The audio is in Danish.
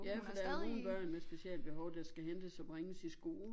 Ja for der jo nogle børn med specialbehov der skal hentes og bringes i skole